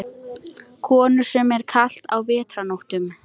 Konur, sem er kalt á vetrarnóttum.